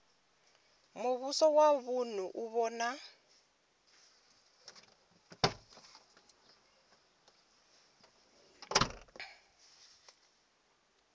muvhuso wa vunu u vhona